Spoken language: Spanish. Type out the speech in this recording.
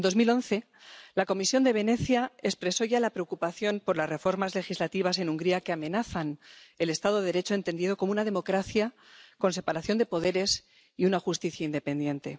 En 2011, la Comisión de Venecia expresó ya la preocupación por las reformas legislativas en Hungría que amenazan el Estado de Derecho entendido como una democracia con separación de poderes y una justicia independiente.